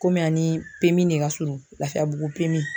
Komi a ni de ka surun Lafiyabugu